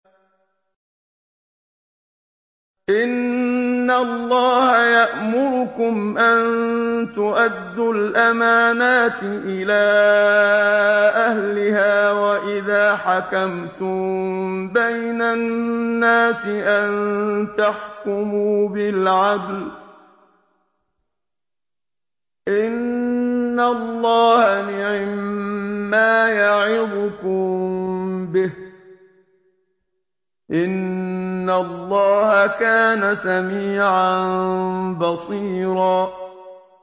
۞ إِنَّ اللَّهَ يَأْمُرُكُمْ أَن تُؤَدُّوا الْأَمَانَاتِ إِلَىٰ أَهْلِهَا وَإِذَا حَكَمْتُم بَيْنَ النَّاسِ أَن تَحْكُمُوا بِالْعَدْلِ ۚ إِنَّ اللَّهَ نِعِمَّا يَعِظُكُم بِهِ ۗ إِنَّ اللَّهَ كَانَ سَمِيعًا بَصِيرًا